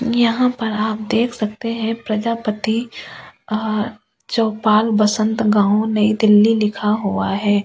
यहाँ पर आप देख सकते है प्रजापति अह चोपाल बसंत गाउँ नई दिल्ली लिखा हुआ है ।